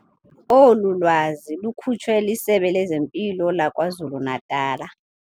Olu lwazi lukhutshwe liSebe lezeMpilo laKwaZulu-Natala.